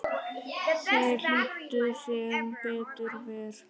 Þeir hlýddu, sem betur fer